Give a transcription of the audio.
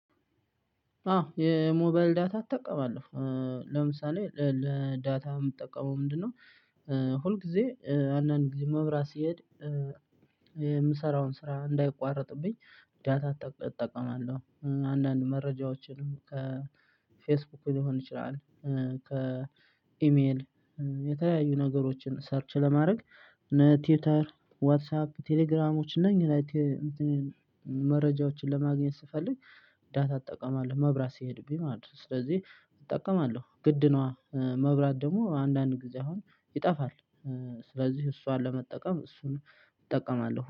አዎ የሞባይል ዳታ እጠቀማለሁ ለምሳሌ ለዳታ የምጠቀመው ምንድነው? ሁል ጊዜ አንዳንድ ጊዜ መብራት ሲሄድ የምሰራውን ስራ እንዳይቋረጥብኝ ዳታ እጠቀማለሁ። አንዳንድ መረጃዎችን ከፌስቡክ ሊሆን ይችላል ከ ከኢሜል የተለያዩ ነገሮችን ሰርች ለማድረግ እነ ቲውተር ዋትሳፕ ቴሌግራሞች ነኝ። መረጃዎችን ለማግኘት ስፈልግ ዳታ እጠቀማለሁ መብራት ሲሄድብኝ ማለት ነው። ስለዚህ እጠቀማለሁ ግድ ነዋ መብራት ደግሞ አንዳንድ ጊዜ አሁን ይጠፋል ስለዚህ እሷን ለመጠቀም እሱን እጠቀማለሁ